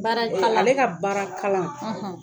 Baara kalan , ale ka baara kalan